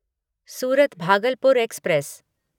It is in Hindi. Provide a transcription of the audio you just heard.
सूरत भागलपुर एक्सप्रेस